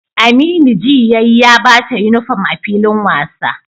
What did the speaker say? Aminu ji yayi ya bata uniform a filin wasan